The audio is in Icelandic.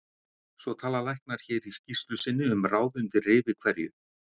Svo tala læknar hér í skýrslu sinni um ráð undir rifi hverju